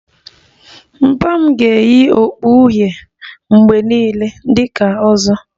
Papa m ga-eyi okpu uhie mgbe niile dị ka 'ozo'